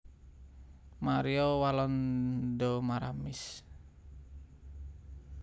Maria Walanda Maramis